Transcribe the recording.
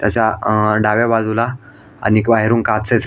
त्याच्या अ डाव्या बाजूला आणि बाहेरून काचे--